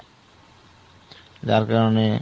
যার কারণে,